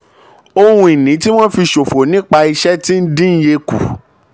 ohun ìní tí wọ́n fi ṣòfò nípa iṣẹ́ tí ń dín iye kù.